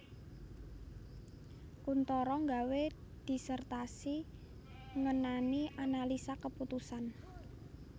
Kuntoro nggawé disertasi ngenani analisa keputusan